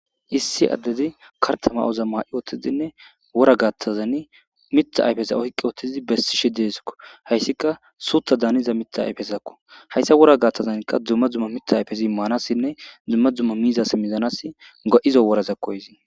Issi addezi kartama7oza ma7i ootizinne ora gattazan mitha ayfesa ohqqi ootizi bessishe deeskko hayssika suuta daaniza mita ayfesakko hayssa wora gaaththazankka dzumma dzumma mitha ayfezi immaanassinne dzumma dzumma miizasi mizanas ga7izo woraza koyzii.